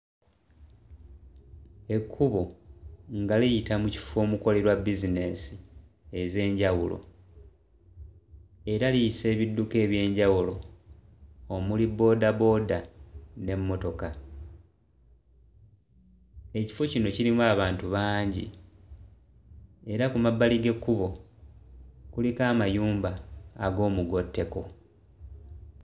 Ekkubo nga liyita mu kifo omukolerwa bizinesi ez'enjawulo era liyisa ebidduka eby'enjawulo omuli boodabooda n'emmotoka ekifo kino kirimu abantu bangi era ku mabbali g'ekkubo kuliko amayumba ag'omugotteko.